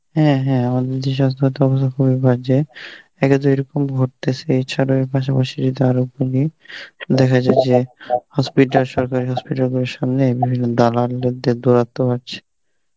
হ্যাঁ হ্যাঁ আমাদের এখানে সাস্থ্য়র তো অবস্থা খুবই বাজে একে তো এরকম ঘটতেসে এছাড়াও এর পাশাপাশি যদি আরো দেখা যায় যে hospital সরকারের hospital গুলোর সামনে এমনি দালালদের তো দৌরাত্ম তো আছে